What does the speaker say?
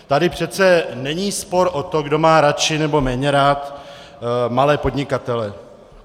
Tady přece není spor o to, kdo má radši nebo méně rád malé podnikatele.